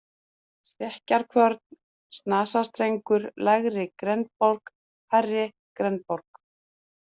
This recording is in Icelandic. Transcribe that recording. Stekkjarkvörn, Snasastrengur, Lægri-Grenborg, Hærri-Grenborg